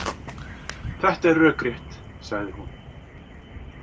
Þetta er rökrétt, sagði hún.